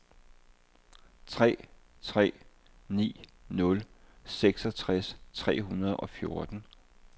tre tre ni nul seksogtres tre hundrede og fjorten